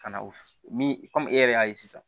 Ka na o min kɔmi e yɛrɛ y'a ye sisan